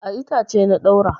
A itace na ɗaura.